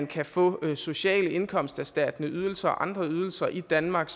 kan få sociale indkomsterstattende ydelser og andre ydelser i danmark